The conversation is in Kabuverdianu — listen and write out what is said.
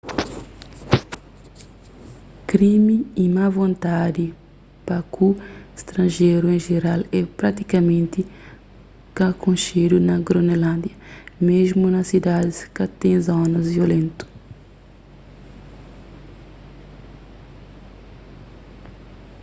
krimi y má vontadi pa ku stranjerus en jeral é pratikamenti ka konxedu na gronelândia mésmu na sidadis ka ten zonas violentu